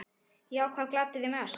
Já Hvað gladdi þig mest?